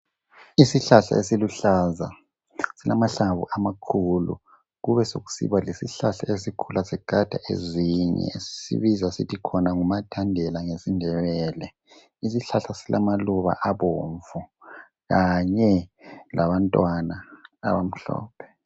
Isihlahla esiluhlaza esilamahlamvu amakhulu, kubesekusiba lesihlahla esikhula sigada ezinye. Sibiza sithi khona ngumathandela ngesindebele. Isihlahla silamaluba abomvu kanye labantwana abamhlophe.